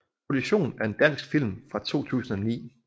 Kollision er en dansk film fra 2019